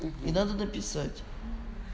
и надо написать